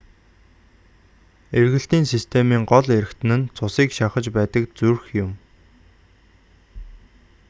эргэлтийн системийн гол эрхтэн нь цусыг шахаж байдаг зүрх юм